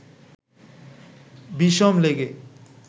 বিষম লেগে